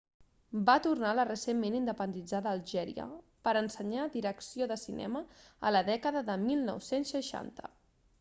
va tornar a la recentment independitzada algèria per ensenyar direcció de cinema a la dècada de 1960